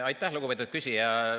Aitäh, lugupeetud küsija!